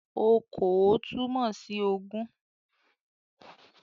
"Okòó" túmọ̀ sí ogún